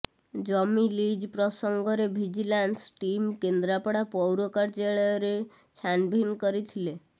ଜମି ଲିଜ୍ ପ୍ରସଙ୍ଗରେ vigilance team Kendrapara ପୌର କାର୍ଯ୍ୟାଳୟରେ ଛାନ୍ଭିନ୍ କରିଥଲେ